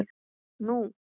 Nú?